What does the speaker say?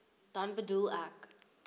dan bedoel ek